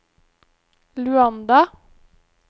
Luanda